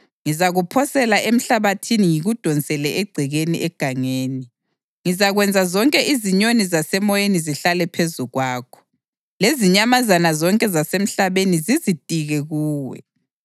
Ngizakuphosela emhlabathini ngikudonsele egcekeni egangeni. Ngizakwenza zonke izinyoni zasemoyeni zihlale phezu kwakho lezinyamazana zonke zasemhlabeni zizitike kuwe.